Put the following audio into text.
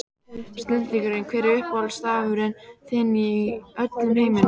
Snillingur Hver er uppáhaldsstaðurinn þinn í öllum heiminum?